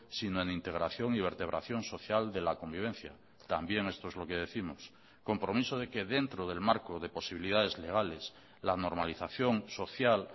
sino en integración y vertebración social de la convivencia también esto es lo que décimos compromiso de que dentro del marco de posibilidades legales la normalización social